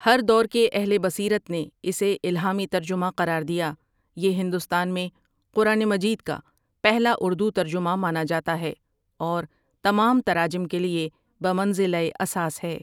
ہر دور کے اہل بصیرت نے اسے الہامی ترجمہ قرار دیا یہ ہندوستان میں قران مجید کا پہلا اردو ترجمہ مانا جاتا ہے اور تمام تراجم کیلیے بمنزلہ اساس ہے ۔